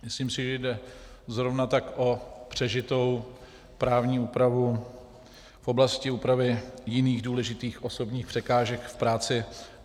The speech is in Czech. Myslím si, že jde zrovna tak o přežitou právní úpravu v oblasti úpravy jiných důležitých osobních překážek v práci.